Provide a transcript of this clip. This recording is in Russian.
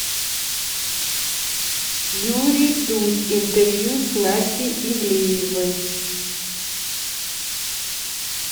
юрий дудь интервью с настей ивлеевой